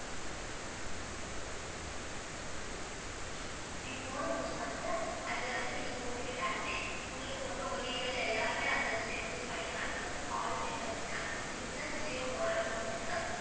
நீங்க modem use பண்ணிகிட்டு, அதுல வந்து நீங்க போட்டுகிட்டாலுமே, உங்க வீட்டிலேந்து எல்லாருமே அதுல வந்து net use பண்ணிக்கலாம். நீங்க வந்து call லுமே வெச்சுக்கலாம். இதுகக்கு தான் jio modem னு ஒன்னு இருக்கு.